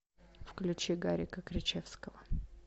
включи гарика кричевского